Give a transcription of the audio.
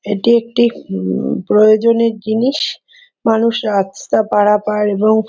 এটি একটি উম প্রয়োজনের জিনিস। মানুষ রাস্তা পারাপার এবং --